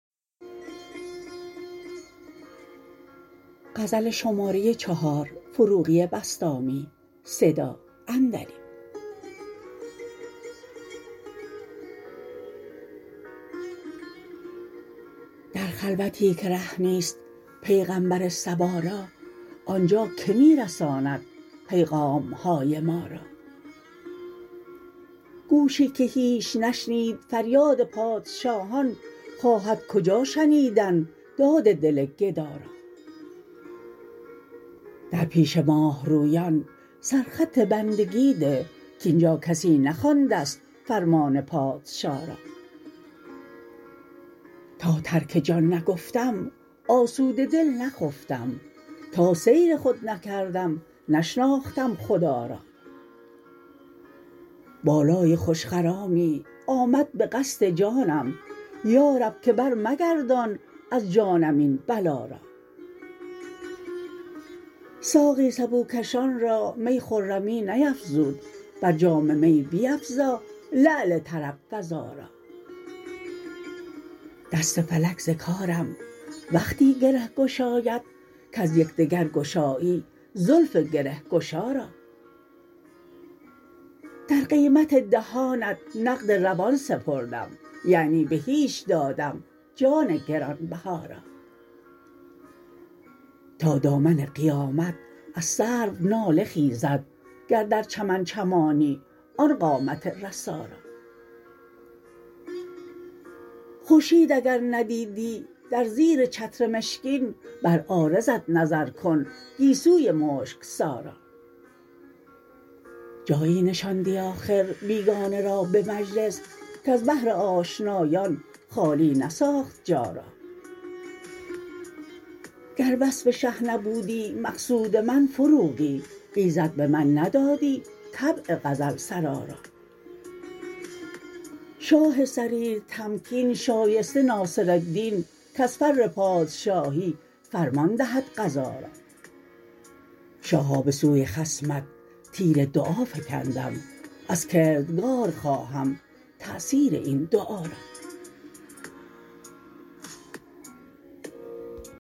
در خلوتی که ره نیست پیغمبر صبا را آن جا که می رساند پیغامهای ما را گوشی که هیچ نشنید فریاد پادشاهان خواهد کجا شنیدن داد دل گدا را در پیش ماه رویان سر خط بندگی ده کاین جا کسی نخوانده ست فرمان پادشا را تا ترک جان نگفتم آسوده دل نخفتم تا سیر خود نکردم نشناختم خدا را بالای خوش خرامی آمد به قصد جانم یا رب که برمگردان از جانم این بلا را ساقی سبو کشان را می خرمی نیفزود برجام می بیفزا لعل طرب فزا را دست فلک ز کارم وقتی گره گشاید کز یکدیگر گشایی زلف گره گشا را در قیمت دهانت نقد روان سپردم یعنی به هیچ دادم جان گران بها را تا دامن قیامت از سرو ناله خیزد گر در چمن چمانی آن قامت رسا را خورشید اگر ندیدی در زیر چتر مشکین بر عارضت نظر کن گیسوی مشک سا را جایی نشاندی آخر بیگانه را به مجلس کز بهر آشنایان خالی نساخت جا را گر وصف شه نبودی مقصود من فروغی ایزد به من ندادی طبع غزل سرا را شاه سریر تمکین شایسته ناصرالدین کز فر پادشاهی فرمان دهد قضا را شاها بسوی خصمت تیر دعا فکندم از کردگار خواهم تاثیر این دعا را